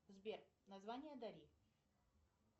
сбер название дари